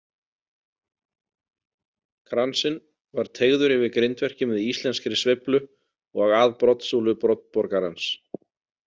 Kransinn var teygður yfir grindverkið með íslenskri sveiflu og að broddsúlu broddborgarans.